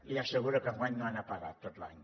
li asseguro que enguany no han apagat tot l’any